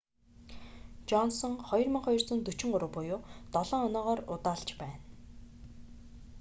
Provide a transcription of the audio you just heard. жонсон 2,243 буюу долоон оноогоор удаалж байна